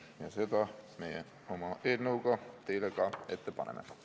Ja seda me oma eelnõuga teile ka ette paneme.